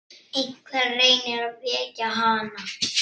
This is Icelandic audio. Einhver reynir að vekja hana.